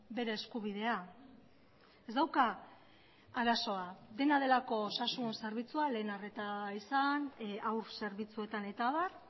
bere eskubidea ez dauka arazoa dena delako osasun zerbitzua lehen arreta izan haur zerbitzuetan eta abar